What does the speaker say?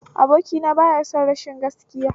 Abokina baya son rashin gaskiya